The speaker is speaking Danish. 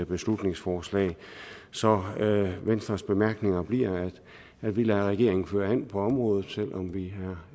beslutningsforslag så venstres bemærkninger bliver at vi lader regeringen føre an på området og selv om vi